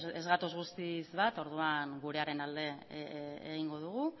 ez gatoz guztiz bat orduan gurearen alde egingo dugu